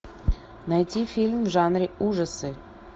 найти фильм в жанре ужасы